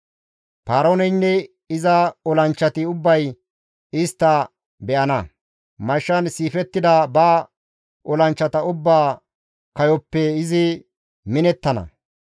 «Paarooneynne iza olanchchati ubbay istta be7ana; mashshan siifettida ba olanchchata ubbaa kayoppe izi minettana.